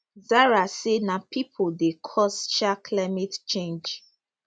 zahra say na pipo dey cause um climate change